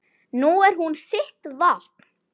Nú er hún þitt vopn.